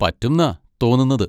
പറ്റുംന്നാ തോന്നുന്നത്.